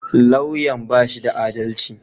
Lauyan ya bashi da adalci